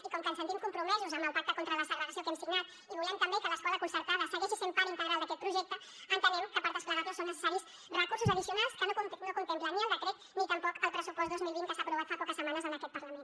i com que ens sentim compromesos amb el pacte contra la segregació que hem signat i volem també que l’escola concertada segueixi sent part integral d’aquest projecte entenem que per desplegarlo són necessaris recursos addicionals que no contemplen ni el decret ni tampoc el pressupost dos mil vint que s’ha aprovat fa poques setmanes en aquest parlament